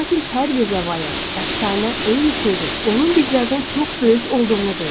Lakin hər bir rəvayət, əfsanə eyni sözü, onun bizlərdən çox böyük olduğunu deyir.